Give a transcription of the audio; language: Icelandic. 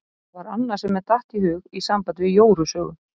Það var annað sem mér datt í hug í sambandi við Jóru sögu.